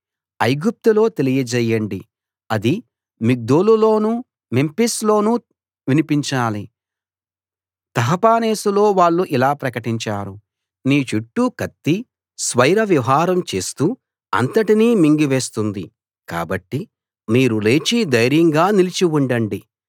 ఐగుప్తులో తెలియజేయండి అది మిగ్దోలులోనూ మెంఫిస్ లోనూ వినిపించాలి తహపనేసులో వాళ్ళు ఇలా ప్రకటించారు నీ చుట్టూ కత్తి స్వైర విహారం చేస్తూ అంతటినీ మింగివేస్తుంది కాబట్టి మీరు లేచి ధైర్యంగా నిలిచి ఉండండి